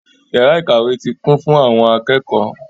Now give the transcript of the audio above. Yàrá ìkàwé ti kún fún àwọn akẹ́kọ̀ọ́.